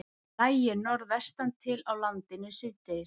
Lægir norðvestan til á landinu síðdegis